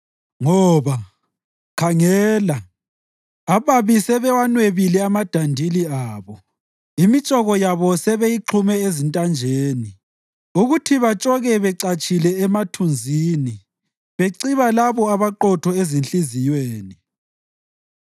Ngoba, khangela, ababi sebewanwebile amadandili abo; imitshoko yabo sebeyixhume ezintanjeni ukuthi batshoke becatshile emathunzini beciba labo abaqotho ezinhliziyweni.